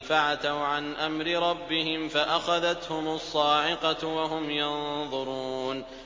فَعَتَوْا عَنْ أَمْرِ رَبِّهِمْ فَأَخَذَتْهُمُ الصَّاعِقَةُ وَهُمْ يَنظُرُونَ